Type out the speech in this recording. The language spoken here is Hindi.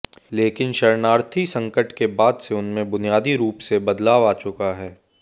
लेकिन शरणार्थी संकट के बाद से उनमें बुनियादी रूप से बदलाव आ चुका है